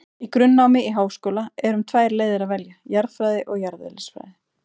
Í grunnnámi í háskóla er um tvær leiðir að velja, jarðfræði og jarðeðlisfræði.